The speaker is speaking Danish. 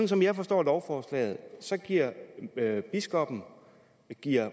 som jeg forstår lovforslaget giver biskoppen